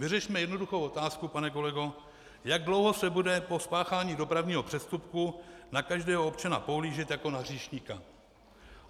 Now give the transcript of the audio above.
Vyřešme jednoduchou otázku, pane kolego, jak dlouho se bude po spáchání dopravního přestupku na každého občana pohlížet jako na hříšníka.